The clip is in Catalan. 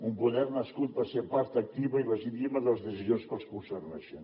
un poder nascut per ser part activa i legítima de les decisions que els concerneixen